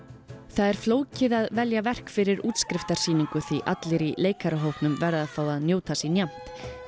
það er flókið að velja verk fyrir því allir í leikarahópnum verða að fá að njóta sín jafnt